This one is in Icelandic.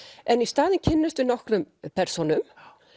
en í staðinn kynnumst við nokkrum persónum